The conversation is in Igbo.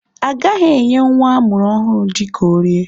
A gaghị enye nwa amụrụ ọhụrụ ji ka o rie.